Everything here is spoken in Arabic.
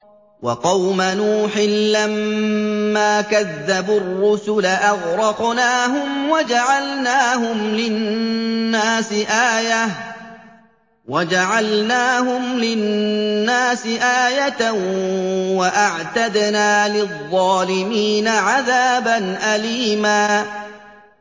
وَقَوْمَ نُوحٍ لَّمَّا كَذَّبُوا الرُّسُلَ أَغْرَقْنَاهُمْ وَجَعَلْنَاهُمْ لِلنَّاسِ آيَةً ۖ وَأَعْتَدْنَا لِلظَّالِمِينَ عَذَابًا أَلِيمًا